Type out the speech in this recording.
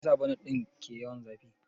Meyasa bonet ɗin ke yawan zafi?